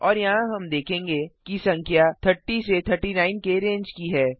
और यहाँ हम देखेंगे कि संख्या 30 से 39 के रेंज की है